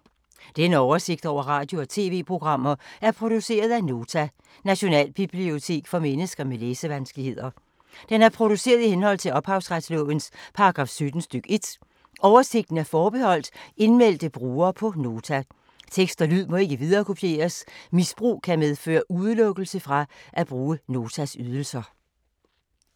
Denne oversigt over radio og TV-programmer er produceret af Nota, Nationalbibliotek for mennesker med læsevanskeligheder. Den er produceret i henhold til ophavsretslovens paragraf 17 stk. 1. Oversigten er forbeholdt indmeldte brugere på Nota. Tekst og lyd må ikke viderekopieres. Misbrug kan medføre udelukkelse fra at bruge Notas ydelser.